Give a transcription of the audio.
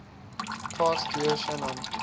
past year shannon